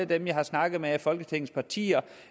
dem jeg har snakket med fra folketingets partier